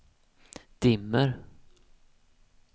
dimmer